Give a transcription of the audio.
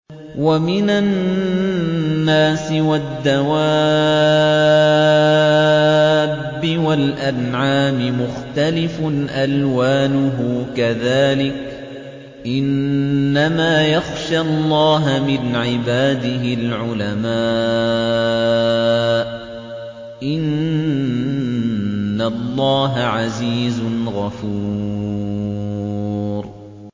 وَمِنَ النَّاسِ وَالدَّوَابِّ وَالْأَنْعَامِ مُخْتَلِفٌ أَلْوَانُهُ كَذَٰلِكَ ۗ إِنَّمَا يَخْشَى اللَّهَ مِنْ عِبَادِهِ الْعُلَمَاءُ ۗ إِنَّ اللَّهَ عَزِيزٌ غَفُورٌ